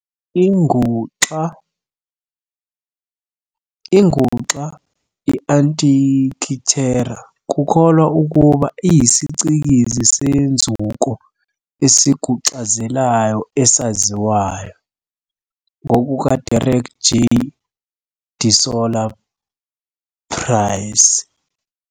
Inguxa i-Antikithera kukholwa ukuba iyisicikizi senzuko esiguxazelayo esaziwayo, ngokuka Derek J. de Solla Price.